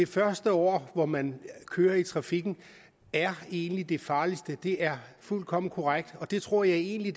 første år hvor man kører i trafikken er egentlig det farligste det er fuldkommen korrekt og det tror jeg egentlig